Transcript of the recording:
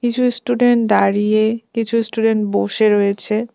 কিছু ইস্টুডেন্ট দাঁড়িয়ে কিছু ইস্টুডেন্ট বসে রয়েছে।